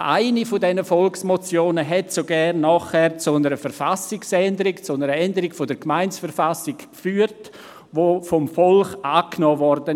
Eine dieser Volksmotionen führte sogar nachher zu einer Änderung der Gemeindeverfassung, die vom Volk angenommen wurde.